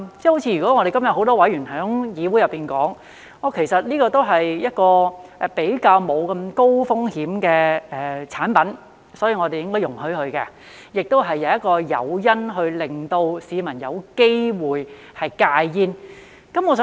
正如很多議員今天在議會內說，其實這些也是相對沒有那麼高風險的產品，所以我們應該容許，而且亦是一個誘因，令市民有機會戒煙。